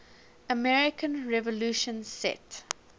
american revolution set